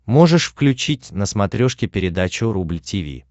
можешь включить на смотрешке передачу рубль ти ви